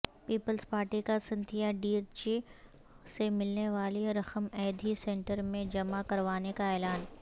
Peoples Party کا Cynthia D Ritchie سے ملنےوالی رقم ایدھی سنٹرمیں جمع کروانے کااعلان